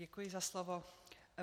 Děkuji za slovo.